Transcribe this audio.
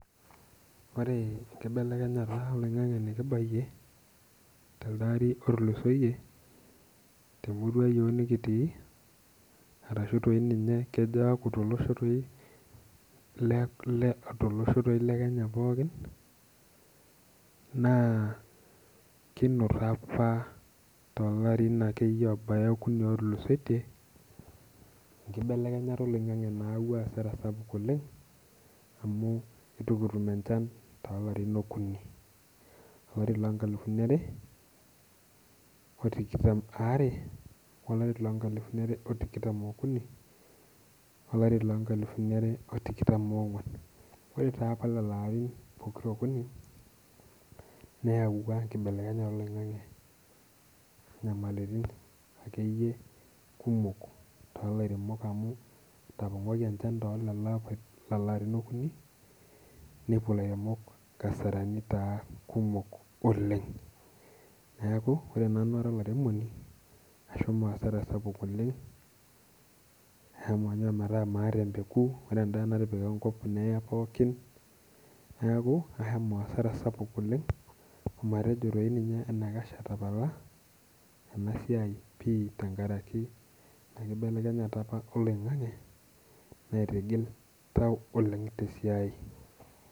Ore enkibelekenyata oloing'ang'e nikibayie te lde ari otulusoyie, temurua iyiok nikitii arashu toi ninye kejo akuu to loosho toi, too losho toi le Kenya pookin, naa kinoto apa too larin akuni akeyie otulusoitie, enkibelekenyata oloing'ang'e nayawua hasara sapuk oleng' amuu etuu kitum enchan too larin okun, olari loo nkalifuni are, otikitam aare, olari loo nkalifuni are otikitam oo kuni, olari loo nkalifuni are otikitam ong'uan. Ore taa apa lelo arin pokira okuni neyaua enkibelekenyata oloing'ang'e nyamalaritin akeyie ilkumok too laremok amuu etapong'oki enchan too leo arin okuni nepuo ilairemoki inkasarani kumok oleng'. Neeku ore nanu ara olaremoni ashomo hasara sapuk oleng' ashomo ometa maata empeku napa natipika enkop nee pookin neeku ashomo hasara sapuk oleng' amatejo enikash atapala ena siai pii tenkaraki enkibelekenyata apa oloing'ang'e naitigil oltau oleng' te siai.